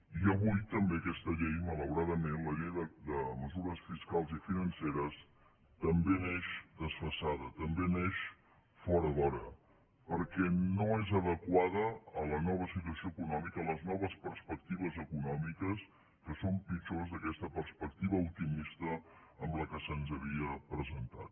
i avui també aquesta llei malauradament la llei de mesures fiscals i financeres també neix desfasada també neix fora d’hora perquè no és adequada a la nova situació econòmica a les noves perspectives econòmiques que són pitjors que aquesta perspectiva optimista amb què se’ns havia presentat